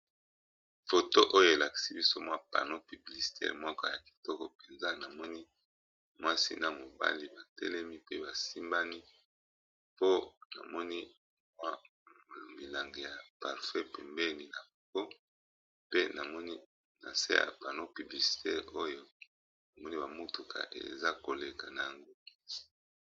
Foto oyo elakisi biso mwa pano publicitaire moko ya kitoko mpenza, namoni mwasi na mobali ba telemi pe ba simbani po namoni mwa milangi ya parfum pembeni na bango pe namoni na nse ya pano publicitaire oyo n'a moni ba motuka eza koleka nango.